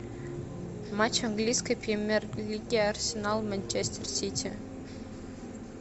матч английской премьер лиги арсенал манчестер сити